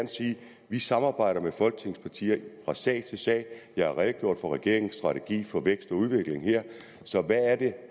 vi samarbejder med folketingets partier fra sag til sag jeg har redegjort for regeringens strategi for vækst og udvikling her så hvad er det